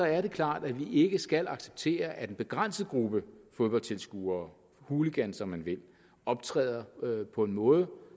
er det klart at vi ikke skal acceptere at en begrænset gruppe fodboldtilskuere hooligans om man vil optræder på en måde